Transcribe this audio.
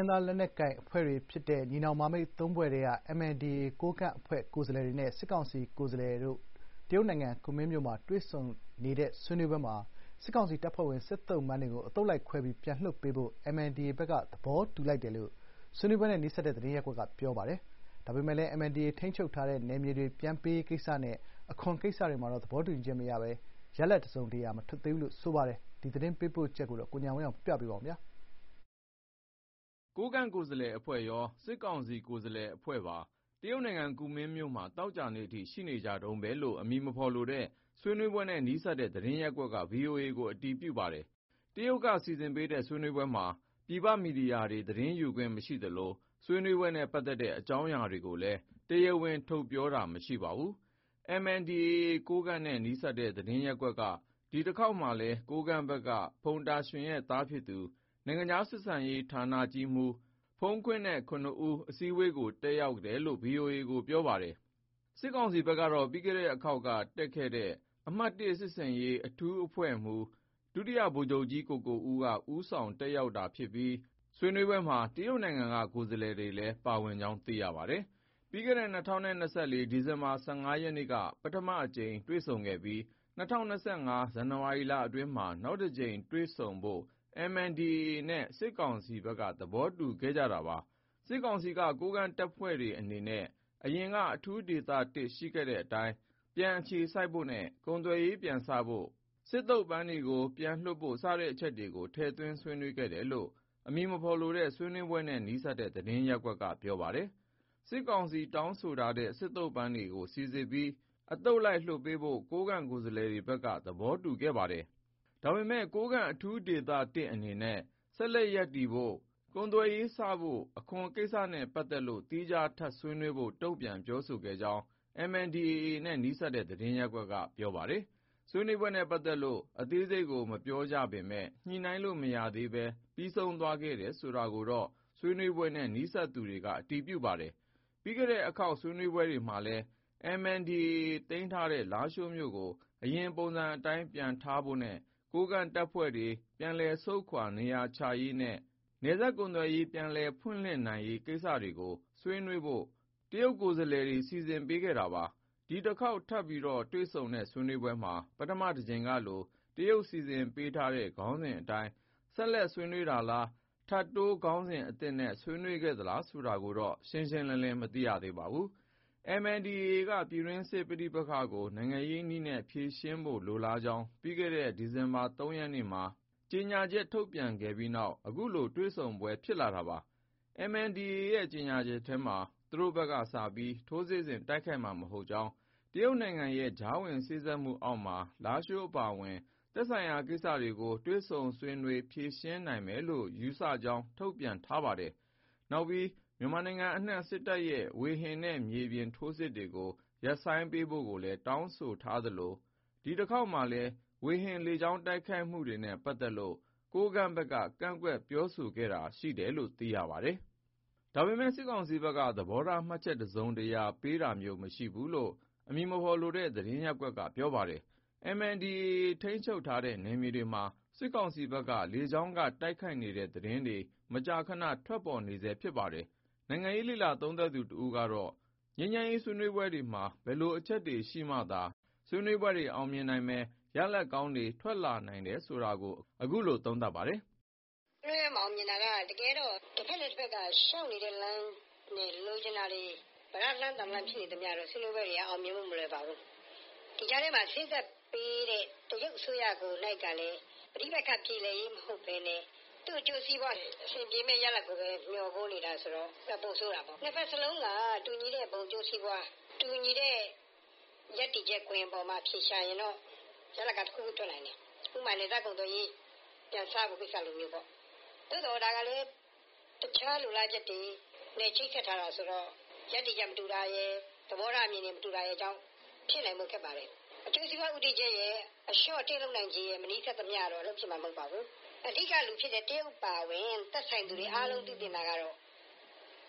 င်းသားလက်နက်ကိုင်အဖွဲ့တွေဖြစ်တဲ့ ညီနောင်မဟာမိတ် ၃ ဖွဲ့ထဲက MNDAA ကိုးကန့် အဖွဲ့ကိုယ်စားလှယ်တွေနဲ့ စစ်ကောင်စီ ကိုယ်စားလှယ်တွေ တရုတ်နိုင်ငံ ကူမင်းမြို့မှာတွေ့ဆုံနေတဲ့ ဆွေးနွေးပွဲမှာ စစ်ကောင်စီတပ်ဖွဲ့ဝင် စစ်သုံ့ပန်းတွေကို အသုတ်လိုက် ခွဲပြီး ပြန်လွှတ်ပေးဖို့ MNDAA ဘက်က သဘောတူလိုက်တယ်လို့ ဆွေးနွေးပွဲနဲ့ နီးစပ်တဲ့ သတင်းရပ်ကွက်က ပြောပါတယ်။ ဒါပေမဲ့လည်း MNDAA ထိန်းချုပ်ထားတဲ့ နယ်မြေတွေ ပြန်ပေးရေးကိစ္စနဲ့ အခွန်ကိစ္စတွေမှာ သဘောတူညီချက်မရဘဲ ရလဒ်တစုံတရာ မထွက်ဘူးလို့လည်း ပြောပါတယ်။ ဒီ သတင်းပေးပို့ချက်ကို ပြောပြပါမယ်။ ကိုးကန့် အဖွဲ့ကိုယ်စားလှယ်အဖွဲ့ရော၊ စစ်ကောင်စီ ကိုယ်စားလှယ်တွေရော တရုတ်နိုင်ငံ ကူမင်းမြို့မှာ သောကြာနေ့ အထိ ရှိနေတုန်းပဲလို့ အမည်မဖေါ်လိုတဲ့ ဆွေးနွေးပွဲနဲ့ နီးစပ်တဲ့ သတင်းရပ်ကွက်က VOA ကို အတည်ပြုပါတယ်။ တရုတ်က စီစဉ်ပေးတဲ့ ဆွေးနွေးပွဲမှာ ပြည်ပ မီဒီယာတွေ သတင်းယူခွင့် မရှိသလို ဆွေးနွေးပွဲနဲ့ ပတ်သက်တဲ့ အကြောင်းအရာတွေကိုလည်း တရားဝင် ထုတ်ဖေါ်ပြောတာ မရှိပါဘူး။ MNDAA နဲ့ နီးစပ်တဲ့ သတင်းရပ်ကွက်က ဒီတခေါက်မှာလည်း ကိုးကန့်ဘက်ကတော့ ဖုန်တာရွှင်ရဲ့ သားဖြစ်သူ နိုင်ငံခြားဆက်ဆံရေးဌာနကြီးမှူး ဖုန်ခွင်းနဲ့ ၇ ဦး အစည်းအဝေးကို တက်ရောက်တယ်လို့ VOA ကို ပြောပါတယ်။ စစ်ကောင်စီဘက် ကတော့ ပြီးခဲ့တဲ့အခေါက်က တက်ရောက်ခဲ့တဲ့ အမှတ် (၁) စစ်ဆင်ရေး အထူးအဖွဲ့မှူး ဒုတိယဗိုလ်ချုပ်ကြီး ကိုကိုဦးက ဦးဆောင်တက် ရောက်ပြီး ဆွေးနွေးပွဲမှာ တရုတ်နိုင်ငံက ကိုယ်စားလှယ်တွေလည်း ပါဝင်တဲ့အကြောင်း ပြောပါတယ်။ ပြီးခဲ့တဲ့ ၂၀၂၄ ဒီဇင်ဘာ ၁၅ ရက်နေ့က ပထမအကြိမ် တွေ့ဆုံခဲ့ပြီး ၂၀၂၅ ဇန်နဝါရီ အတွင်းမှာ နောက်တကြိမ် တွေ့ဆုံဖို့ MNDAA နဲ့ စစ်ကောင်စီ သဘောတူခဲ့ကြတာပါ။ စစ်ကောင်စီက ကိုးကန့်တပ်ဖွဲ့တွေအနေနဲ့ အရင်က အထူးဒေသ ၁ ရှိခဲ့တဲ့ အတိုင်း ပြန်အခြေစိုက်ဖို့နဲ့ ကုန်သွယ်ရေး ပြန်စဖို့ စစ်သုံပန်းတွေပြန်လွှတ်ဖို့ စတဲ့အချက်တွေကို ထည့်သွင်းဆွေးနွေးခဲ့တယ်လို့ အမည်မဖေါ်လိုတဲ့ ဆွေးနွေးပွဲနဲ့ နီးစပ်တဲ့ သတင်းရပ်ကွက်က ပြောပါတယ်။ စစ်ကောင်စီတောင်းဆိုထားတဲ့ စစ်သုံ့ပန်းတွေစိစစ်ပြီးအသုတ်လိုက်လွှတ်ပေးဖို့ ကိုးကန့် ကိုယ်စားလှယ်တွေက သဘောတူခဲ့ပါတယ်။ ဒါပေမဲ့ ကိုးကန့် အထူးဒေသ ၁ အနေနဲ့ ဆက်ရပ်တည်ဖို့၊ ကုန်သွယ်ရေး စဖို့နဲ့ အခွန်ကိစ္စတွေနဲ့ ပတ်သက်လို့ သီးခြား ထပ်ဆွေးနွေးဖို့ တုံ့ပြန် ပြောဆိုခဲ့တဲ့အကြောင်း MNDAA နဲ့ နီးစပ်တဲ့ သတင်းရပ်ကွက်က ပြောပါတယ်။ ဆွေးနွေးပွဲနဲ့ ပတ်သက်လို့ အသေးစိတ်ကို မပြောပေမဲ့ ညှိနှိုင်းလို့ မရဘဲ ပြီးဆုံးသွားတယ်ဆိုတာကိုတော့ ဆွေးနွေးပွဲနဲ့ နီးစပ်တဲ့သူက အတည်ပြု ပြောဆိုပါတယ်။ ပြီးခဲ့တဲ့အခေါက်ဆွေးနွေးပွဲမှာလည်း MNDAA သိမ်းထားတဲ့လားရှိုးမြို့ကို အရင်ပုံစံ အတိုင်း ပြန်ထားဖို့နဲ့ ကိုးကန့်တပ်တွေ ပြန်လည်ဆုတ်ခွာနေရာချရေးနဲ့ နယ်စပ်ကုန်သွယ်ရေး ပြန်လည်ဖွင့်လှစ်နိုင်ရေး ကိစ္စတွေကို ဆွေးနွေးဖို့ တရုတ်ကိုယ်စားလှယ်တွေ စီစဉ်ပေးခဲ့ပါတယ်။ ဒီတခေါက်ထပ်တွေ့ဆုံတဲ့ ဆွေးနွေးပွဲမှာ ပထမတကြိမ်ကလို တရုတ်စီစဉ်ပေးထားတဲ့ ခေါင်းစဉ်အတိုင်း ဆက် ဆွေးနွေးတာလား ထပ်တိုး ခေါင်းစဉ်အသစ်နဲ့ဆွေးနွေးခဲ့သေးလားဆိုတာကိုတော့ ရှင်းရှင်းလင်းလင်းမသိခဲ့ရပါ ဘူး။ MNDAA က ပြည်တွင်းစစ်ရေးပဋိပက္ခကို နိုင်ငံရေးနည်းနဲ့ ဖြေရှင်းဖို့ လိုလားကြောင်း ပြီးခဲ့တဲ့နှစ် ဒီဇင်ဘာ ၃ ရက်နေ့မှာ ကြေညာချက် ထုတ်ပြန်ပြီးတဲ့နောက် အခုလိုတွေ့ဆုံပွဲ တွေဖြစ်လာခဲ့တာပါ။ MNDAA ရဲ့ ကြေညာချက်မှာ သူတို့ဘက်က စပြီး ထိုးစစ်ဆင်တိုက်ခိုက်မှာ မဟုတ်ကြောင်း၊ တရုတ်နိုင်ငံရဲ့ကြားဝင်စေ့စပ်မှုအောက်မှာ လားရှိုးအပါအဝင် သက်ဆိုင်ရာ ကိစ္စတွေကို တွေ့ဆုံဆွေးနွေးဖြေရှင်းနိုင်မယ်လို့ ယူဆကြောင်း ထုတ်ပြန်ထားပါတယ်။ နောက်ပြီး မြန်မာနိုင်ငံအနှံ့ စစ်တပ်ရဲ့ ဝေဟင်နဲ့ မြေပြင်ထိုးစစ်တွေကို ရပ်ဆိုင်းပေးဖို့လည်း တောင်းဆိုထားခဲ့သလို ဒီတခေါက်မှာလည်း ဝေဟင်လေကြောင်း တိုက်ခိုက်မှုတွေနဲ့ပတ်သတ်လို့ ကိုးကန့်ဘက်က ကန့်ကွက်ပြောဆိုခဲ့တာရှိတယ်လို့ သိရပါတယ်။ ဒါပေမယ့်စစ်ကောင်စီဘက်က သဘောထားမှတ်ချက်တစုံတရာ ပေးတာမျိုး မရှိဘူးလို့ အမည်မဖေါ်လိုတဲ့ သတင်းရပ်ကွက်က ပြောပါတယ်။ MNDAA ထိန်းချုပ်ထားတဲ့ နယ်မြေတွေမှာ စစ်ကောင်စီဘက်က လေကြောင်းက တိုက်ခိုက်နေတဲ့ သတင်းတွေ မကြာခဏ ထွက်ပေါ်နေဆဲဖြစ်ပါတယ်။ နိုင်ငံရေးလေ့လာသုံးသပ်သူ တဦးကတော့ ငြိမ်းချမ်းရေးဆွေးနွေးပွဲတွေမှာ ဘယ်လို အချက်တွေရှိမှသာ ဆွေးနွေးပွဲတွေအောင်မြင်နိုင်မယ်၊ ရလဒ်ကောင်းတွေ ထွက်လာနိုင်တယ်ဆိုတာကို အခုလို သုံးသပ်ပါတယ်။ "ဆွေးနွေးပွဲမအောင်မြင်တာကတကယ်တော့ တဖက်နဲ့တဖက်လျှောက်နေတဲ့လမ်း လိုချင်တာတွေ ပြဒါးတလမ်း သံတလမ်း ဖြစ်နေတော့ ဆွေးနွေးပွဲတွေကအောင်မြင်ဖို့မလွယ်ပါဘူး။ ဒီကြားထဲမှာစေ့စပ်ပေးတဲ့တရုတ်အစိုးရကိုယ်တိုင်ကလည်း ပဋိပက္ခပြေလည်ရေးမဟုတ်ဘဲ နဲ့ သူ့အကျိုးစီးပွား ပြေလည်ရေးကိုဘဲ ဦးတည်နေတာဆိုတော့ ပိုဆိုးတာပေါ့ ၂ဖက်စလုံးက တူညီတဲ့ဘုံအကျိုးစီးပွား၊ တူညီတဲ့ရပ်တည်ချက် အပေါ်မှာအဖြေရှာရင်တော့ ရလဒ်ကတခုခုထွက်နိုင်တယ်။ ဥပမာနယ်စပ်ကုန်သွယ်ရေးပြန်စဖို့ကိစ္စလိုပေါ့။ ဒါကလည်းတခြားလိုလားချက် တွေ နဲ့ချိတ်ဆက်ထားတာဆိုတော့ရပ်တည်ချက်မတူတာရယ် သဘောထားအမြင်မတူတာရယ်ကြောင့် ဖြစ်နိုင်ဖို့ခက်ပါတယ်။ အကျိုးစီးပွား ရပ်တည်ချက်ရယ်အလျှော့အတင်းမလုပ်နိုင်သရွေ့တော့ အလုပ်ဖြစ်မယ်မဟုတ်ပါဘူး။ အဓိကဖြစ်တဲ့တရုတ်အပါအဝင် သက်ဆိုင်သူတွေအားလုံးသိသင့်တာကတော့